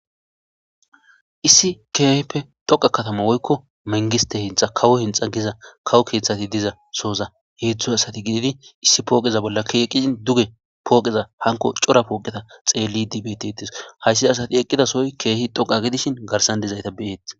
Issi keehippe dhoqa katama woykko mengiste hinxa kawo hinxa giza kawo keeththati diza sooza heedzdzu asati giidi issi pooqeza bolla keeqqizin duge pooqeza hanko cora pooqeta xeelli dibetitis hayssi asati eqqidasoy keehi dhoqa gidishin garsande zayta beyeet